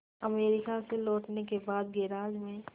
America से लौटने के बाद गैराज में